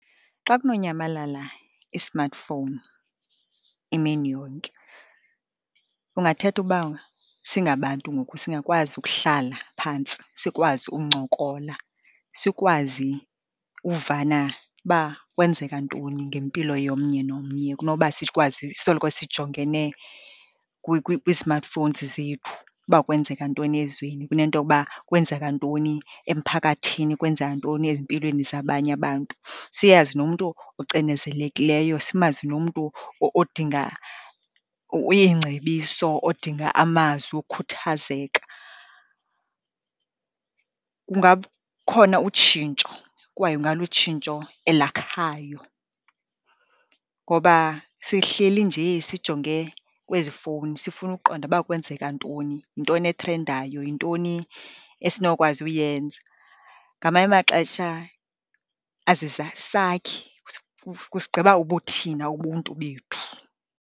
Xa kunonyamalala i-smartphone imini yonke kungathetha uba singabantu ngoku singakwazi ukuhlala phantsi sikwazi uncokola, sikwazi uvana uba kwenzeka ntoni ngempilo yomnye nomnye, kunoba sikwazi soloko sijongene kwii-smartphones zethu uba kwenzeka ntoni ezweni kunento yokuba kwenzeka ntoni emphakathini, kwenzeka ntoni ezimpilweni zabanye abantu, siyazi nomntu ocinezelekileyo, simazi nomntu odinga iingcebiso, odinga amazwi wokhuthazeka. Ngukhona utshintsho kwaye ungalutshintsho elakhayo, ngoba sihleli njee sijonge kwezi fowuni sifuna ukuqonda uba kwenzeka ntoni, yintoni ethrendayo, yintoni esinokwazi uyenza. Ngamanye amaxesha azisakhi, kusigqiba ubuthina, ubuntu bethu.